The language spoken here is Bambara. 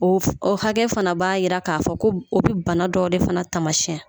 O ɔ hakɛ fana b'a jira k'a fɔ ko o bɛ bana dɔw de fana taamasiyɛn